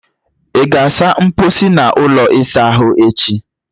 ị ga-asa mposi na ụlọ ịsa ahụ echi!